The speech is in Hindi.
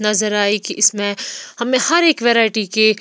नजर आई कि इसमें हमें हर एक वैरायटी के--